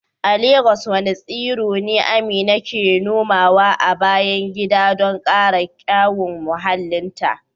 A Legas wadanne tsiro ne Amina ke nomawa a bayan gida don kara kyawun muhallinta?